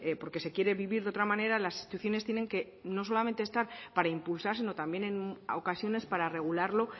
porque se quiere vivir de otra manera las instituciones tienen que no solamente estar para impulsar sino también en ocasiones para regularlo